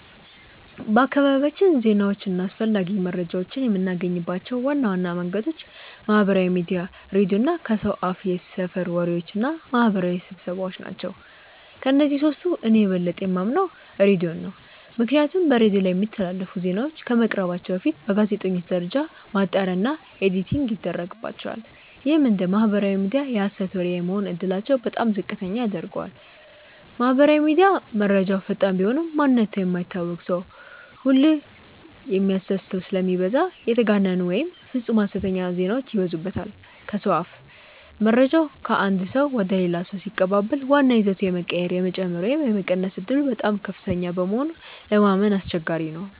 በአካባቢያችን ዜናዎችን እና አስፈላጊ መረጃዎችን የምናገኝባቸው ዋና ዋና መንገዶች ማህበራዊ ሚዲያ፣ ሬዲዮ እና ከሰው አፍየሰፈር ወሬዎች እና ማህበራዊ ስብሰባዎ ናቸው። ከእነዚህ ሶስቱ እኔ የበለጠ የማምነው ሬዲዮን ነው። ምክንያቱም በሬዲዮ ላይ የሚተላለፉ ዜናዎች ከመቅረባቸው በፊት በጋዜጠኞች ደረጃ ማጣሪያ እና ኤዲቲንግ ይደረግባቸዋል። ይህም እንደ ማህበራዊ ሚዲያ የሀሰት ወሬ የመሆን እድላቸውን በጣም ዝቅተኛ ያደርገዋል። ማህበራዊ ሚዲያ፦ መረጃው ፈጣን ቢሆንም፣ ማንነቱ የማይታወቅ ሰው ሁሉ የሚโพስተው ስለሚበዛ የተጋነኑ ወይም ፍፁም ሀሰተኛ ዜናዎች ይበዙበታል። ከሰው አፍ፦ መረጃው ከአንድ ሰው ወደ ሌላ ሰው ሲቀባበል ዋናው ይዘቱ የመቀየር፣ የመጨመር ወይም የመቀነስ ዕድሉ በጣም ከፍተኛ በመሆኑ ለማመን አስቸጋሪ ነው።